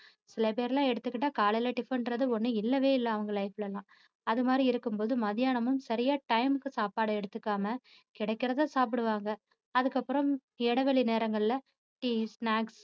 சில பேரையெல்லாம் எடுத்துகிட்டா காலைல tiffin என்றது ஒண்ணு இல்லவே இல்ல அவங்க life ல எல்லாம். அது மாதிரி இருக்கும் போது மத்தியானமும் சரியா time க்கு சாப்பாடு எடுத்துக்காம கிடைக்கிறதை சாப்பிடுவாங்க அதுக்கப்புறம் இடைவெளி நேரங்கள்ல tea snacks